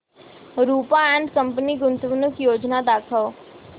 Rupa and company गुंतवणूक योजना दाखव